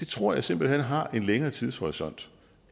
tror jeg simpelt hen har en længere tidshorisont